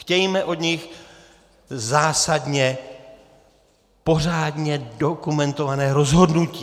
Chtějme od nich zásadně, pořádně dokumentované rozhodnutí.